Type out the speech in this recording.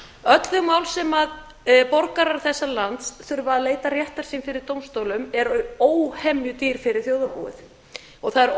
tólf öll þau lög sem borgarar þessa lands þurfa að leita réttar síns fyrir dómstólum eru óhemju dýr fyrir þjóðarbúið og það er